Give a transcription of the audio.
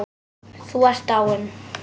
Þú ert dáinn.